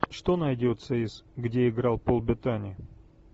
что найдется из где играл пол беттани